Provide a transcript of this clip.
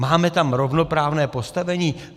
Máme tam rovnoprávné postavení?